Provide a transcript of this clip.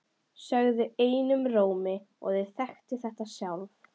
Sögðu einum rómi að þau þekktu þetta sjálf.